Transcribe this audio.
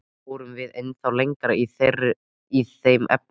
Fórum við ennþá lengra í þeim efnum?